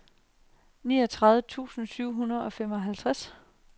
niogtredive tusind syv hundrede og femoghalvtreds